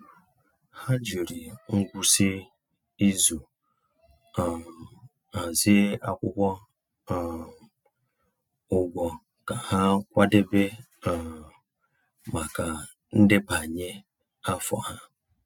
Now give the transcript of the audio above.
Ha jiri ngwụsị izu um hazie akwụkwọ um ụgwọ ka ha kwadebe um maka ndebanye afọ ha.